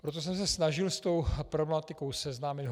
Proto jsem se snažil s tou problematikou seznámit.